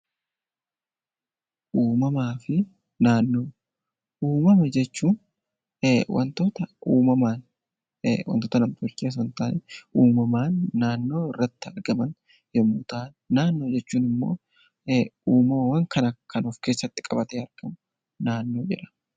Uumama jechuun wantoota uumamaan naannoo irratti argaman yommuu ta'an, naannoo jechuun immoo uumama kan of keessatti qabatan jechuudha